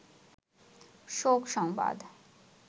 শোক সংবাদ